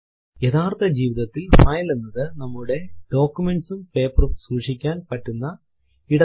യഥാർത്ഥ ജീവിതത്തിൽ ഫൈൽ എന്നത് നമ്മുടെ ഡോക്യുമെന്റ്സും പേപ്പറും സൂക്ഷിക്കാൻ പറ്റുന്ന ഇടത്തെയാണ്